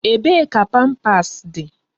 Ebee ka pampas dị?